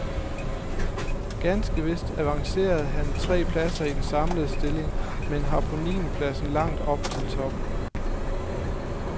Ganske vist avancerede han tre pladser i den samlede stilling, men har på niendepladsen langt op til toppen.